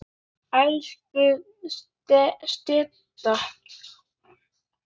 Elsku Setta.